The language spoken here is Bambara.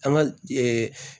An ka